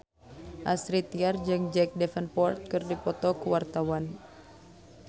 Astrid Tiar jeung Jack Davenport keur dipoto ku wartawan